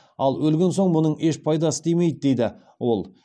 ал өлген соң мұның еш пайдасы тимейді дейді ол